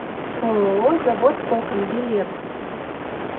ооо завод окон билет